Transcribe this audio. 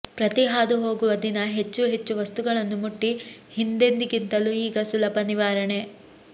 ಪ್ರತಿ ಹಾದುಹೋಗುವ ದಿನ ಹೆಚ್ಚು ಹೆಚ್ಚು ವಸ್ತುಗಳನ್ನು ಮುಟ್ಟಿ ಹಿಂದೆಂದಿಗಿಂತಲೂ ಈಗ ಸುಲಭ ನಿವಾರಣೆ